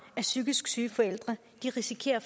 af psykisk syge forældre risikerer